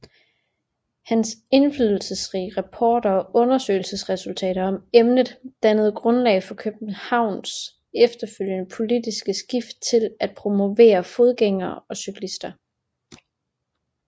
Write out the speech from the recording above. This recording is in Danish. Hans indflydelsesrige rapporter og undersøgelsesresultater om emnet dannede grundlaget for Københavns efterfølgende politiske skift til at promovere fodgængere og cykler